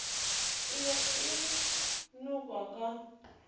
e be e nokwa ka